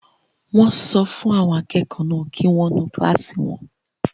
Wọ́n sọ fún àwọn akẹ́kọ̀ọ́ náà kí wọ́n nu kílásì náà